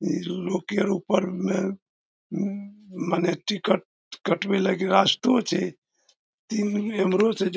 ई लौकी आर ऊपर में उम्म मने टिकट कटवे लागी रास्तो छे। ई एमरो से जा --